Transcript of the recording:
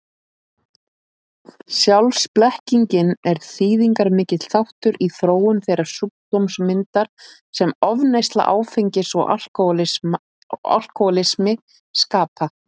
Sjálfsblekkingin er þýðingarmikill þáttur í þróun þeirrar sjúkdómsmyndar sem ofneysla áfengis og alkohólismi skapa.